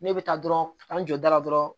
Ne bɛ taa dɔrɔn ka taa n jɔ da la dɔrɔn